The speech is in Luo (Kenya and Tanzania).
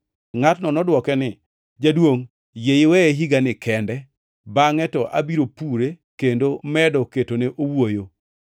“Ngʼatno nodwoke ni, ‘Jaduongʼ, yie iweye higani kende bangʼe to abiro pure kendo medo ketone owuoyo.